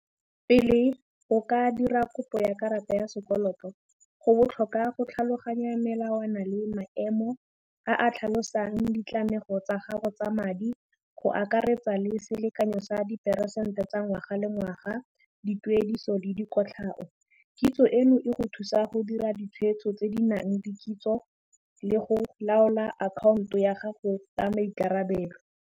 Pele o ka dira kopo ya karata ya sekoloto, go botlhokwa go tlhaloganya melawana le maemo a a tlhalosang ditlamorago tsa gago tsa madi go akaretsa le selekanyo sa diperesente tsa ngwaga le ngwaga dituediso le dikotlhao, kitso eno e go thusa go dira ditshwetso tse di nang le kitso le go laola akhaonto ya gago ka maikarabelo